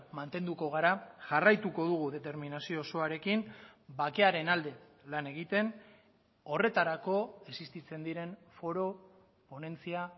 mantenduko gara jarraituko dugu determinazio osoarekin bakearen alde lan egiten horretarako existitzen diren foro ponentzia